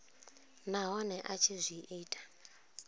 nahone a tshi zwi ita